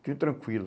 Fique tranquilo.